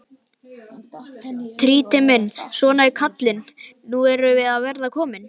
Týri minn, svona kallinn, nú erum við að verða komin.